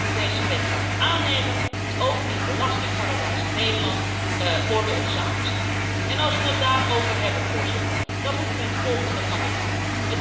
Dat we deze wet morgen aannemen moet ook in belastingparadijs Nederland orde op zaken stellen. Als we het daarover hebben, Voorzitter, dan moet mij het volgende van het hart.